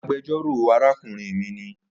Agbẹjọro arakunrin mi ni